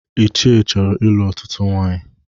Ichie chọrọ ịlụ ọtụtụ nwaanyị